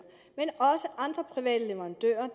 men også andre private leverandører